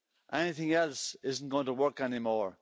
Anything else is not going to work anymore.